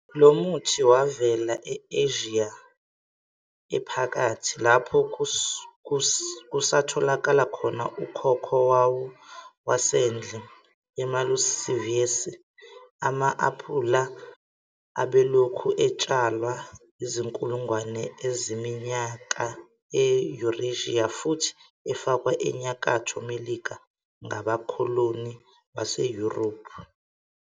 Lo muthi wavela e-Asia Ephakathi, lapho kusatholakala khona ukhokho wawo wasendle, iMalus sieversii. Ama-aphula abelokhu etshalwa izinkulungwane zeminyaka e-Eurasia futhi afakwa eNyakatho Melika ngabakholoni baseYurophu.